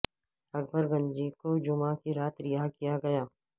اکبر گنجی کو جمعہ کی رات رہا کیا گیا